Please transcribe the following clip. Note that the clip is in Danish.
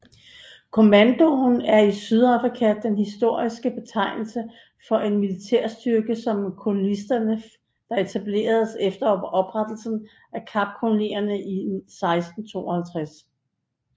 Kommando er i Sydafrika den historiske betegnelse på en militsstyrke som kolonisterne der etablerede efter oprettelsen af Kapkolonien i 1652